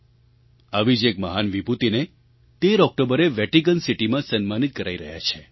આવી જ એક મહાન વિભૂતિને 13 ઑક્ટોબરે વેટિકન સિટીમાં સન્માનિત કરાઈ રહ્યા છે